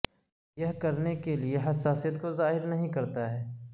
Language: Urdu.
یہ کرنے کے لئے حساسیت کو ظاہر نہیں کرتا ہے